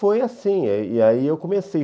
Foi assim, e aí eu comecei.